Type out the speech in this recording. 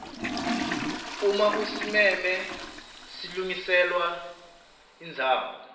uma usimeme silungiselwa indzawo